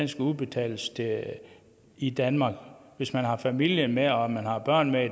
skal udbetales i danmark hvis man har familien med og man har børnene